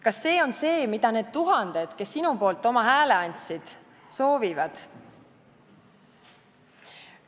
Kas see on see, mida need tuhanded, kes sinu poolt oma hääle andsid, soovivad?